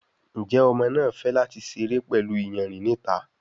Njé Ọmọ náa fè láti seré pẹlú iyanrìn ní ìta?